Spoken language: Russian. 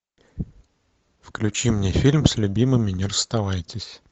включи мне фильм с любимыми не расставайтесь